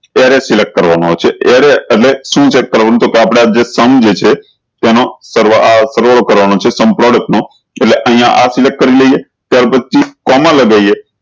array select કરવાન આવશે array એટલે શું array કરવાનું છે તો કેહ આપડા જે sum જે છે તેનો સરવાળો કરવાનો છે sum product નો એટલે અયીયા આ select કરી લિયે ત્યાર પછી કોમા લગાયીયે